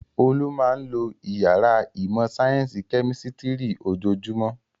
Olú máa ń lo ìyàrá ìmọ̀-sáyẹ́ńsì kẹ́mísítírì ojoojúmọ́.